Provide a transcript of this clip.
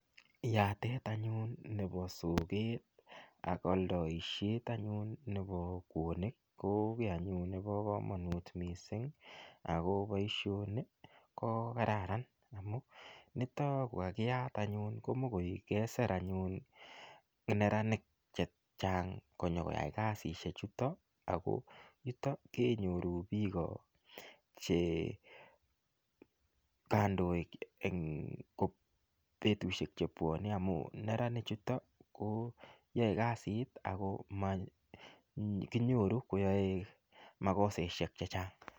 Yatet anyun nebo soget ak aldaisiet anyun nebo kwoonik ko kiy anyun nebo kamanut mising ago boisioni ko kararan amu nito kokakiyat anyun komokoik kesir anyun neranik che chang konyokoyai kasisiechuto ago yutok kenyoru biik che kandoik eng betusiek che bwanei amu neranichuto koyae kasit ago makinyoru koyae makosaisiek che chang.